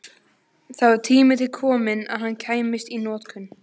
Það var tími til kominn að hann kæmist í notkun!